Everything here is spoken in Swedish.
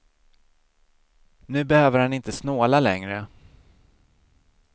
Nu behöver han inte snåla längre.